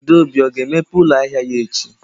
Adaobi ga-emepe ụlọ ahịa ya echi?